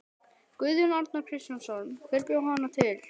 Guðjón Arnar Kristjánsson: Hver bjó hana til?